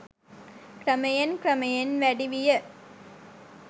ක්‍රමයෙන් ක්‍රමයෙන් වැඩි විය.